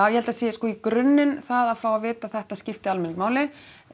held að það sé sko í grunninn að fá að vita að þetta skipti almenning máli